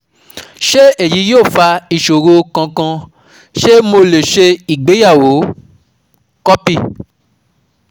Ṣé èyí yóò fa ìṣòro kankan, ṣé mo lè ṣe ìgbéyàwó? Copy